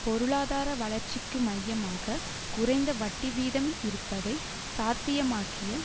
பொருளாதார வளர்ச்சிக்கு மையமாக குறைந்த வட்டி வீதம் இருப்பதை சாத்தியமாக்கிய